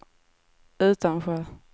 Utansjö